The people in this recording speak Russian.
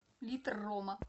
литр рома